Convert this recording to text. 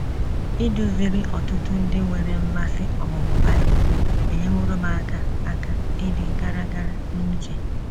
Iduziri ọtụtụ ndị nwere mmasị ọmụmụ Bible enyeworo m aka aka ịdị gara gara n’uche.